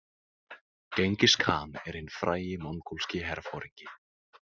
Djengis-khan er hinn frægi mongólski herforingi .